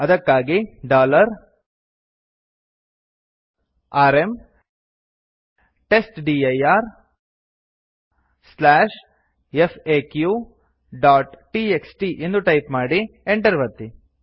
ಅದಕ್ಕಾಗಿ ಆರ್ಎಂ testdirfaqಟಿಎಕ್ಸ್ಟಿ ಎಂದು ಟೈಪ್ ಮಾಡಿ enter ಒತ್ತಿ